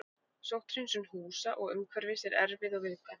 Sótthreinsun húsa og umhverfis er erfið og viðkvæm.